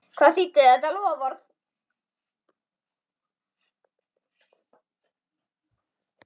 Hvað þýddi þetta loforð?